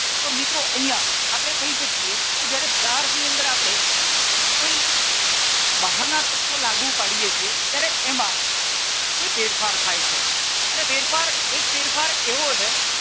તો મિત્રો અહિંયા આપણે કહી શકીએ કે જ્યારે વરાળની અંદર આપણે કોઈ બહારના તત્વો લાગુ પાડીએ છીએ ત્યારે એમાં કોઈ ફેરફાર થાય છે અને ફેરફાર એક ફેરફાર એવો છે.